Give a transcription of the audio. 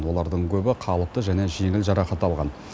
олардың көбі қалыпты және жеңіл жарақат алған